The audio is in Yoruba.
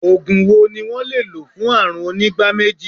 Ògùn wo ni wón le lò fún àrùn onígbá méjì?